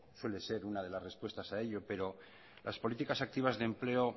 suele ser una de las respuestas a ello pero las políticas activas de empleo